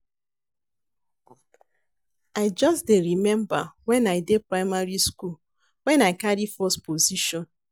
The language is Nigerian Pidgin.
I just dey remember when I dey primary school, when I dey carry first position.